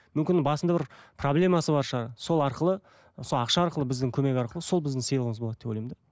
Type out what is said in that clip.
мүмкін басында бір проблемасы бар шығар сол арқылы сол ақша арқылы біздің көмек арқылы сол біздің сыйлығымыз болады деп ойлаймын да